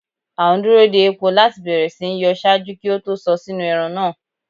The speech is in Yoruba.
A n duro de epo lati bẹrẹ si nyọ ṣaaju ki o to sọ sinu ẹran naa